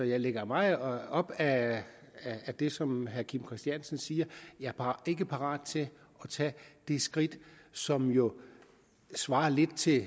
jeg ligger meget op ad det som herre kim christiansen siger jeg er bare ikke parat til at tage det skridt som jo svarer lidt til